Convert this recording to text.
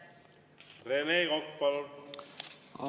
Rene Kokk, palun!